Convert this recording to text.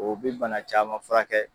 O be bana caman fura kɛ.